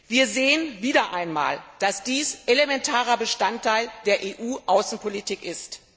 Wir sehen wieder einmal, dass dies elementarer Bestandteil der EU Außenpolitik ist.